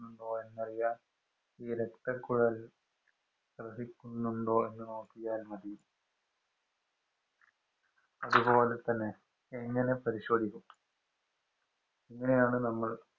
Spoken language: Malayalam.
എന്നറിയാന്‍ ഈ രക്തക്കുഴല്‍ ത്രസിക്കുന്നുണ്ടോ എന്ന് നോക്കിയാല്‍ മതി. അതുപോലെ തന്നെ എങ്ങനെ പരിശോധിക്കും?